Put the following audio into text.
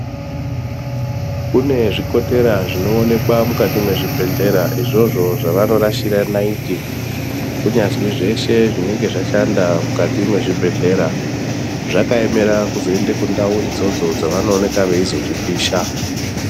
Kune zvikotera zvinoonekwa mukati mwezvibhehlera izvozvo zvavanorashira naiti kunyazwi zveshe zvinenge zvashanda mukati mwezvibhehlera. Zvakaemera kuzoende kundau idzodzo dzavanooneka veizozvipisha.